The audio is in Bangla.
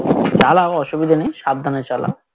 তাহলে আবার অসুবিধা নেই সাবধানে চলা